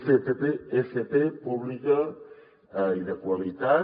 fp pública i de qualitat